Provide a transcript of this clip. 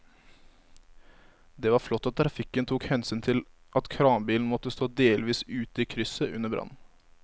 Det var flott at trafikken tok hensyn til at kranbilen måtte stå delvis ute i krysset under brannen.